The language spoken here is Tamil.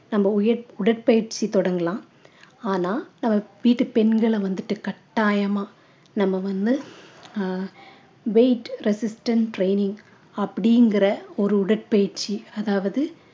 நம்ம உயிர்~ உடற்பயிற்சி தொடங்கலாம் ஆனா நம்ம வீட்டுப் பெண்களை வந்துட்டு கட்டாயமா நம்ம வந்து ஆஹ் weight resistant training அப்படிங்கிற ஒரு உடற்பயிற்சி அதாவது